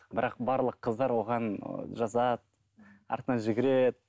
бірақ барлық қыздар оған ыыы жазады артынан жүгіреді